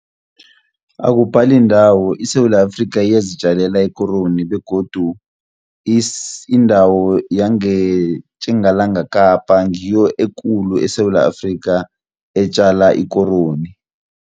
Akubhali ndawo iSewula Afrika iyazitjalela ikoroni, begodu indawo yangeTjingalanga Kapa ngiyo ekulu eSewula Afrika etjala ikoroni.